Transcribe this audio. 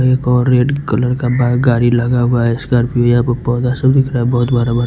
एक और red colour का बाइ गाड़ी लगा हुआ है स्कॉर्पियो यहाँ पे पौधा सब दिख रहा हैं बहुत भरा भरा--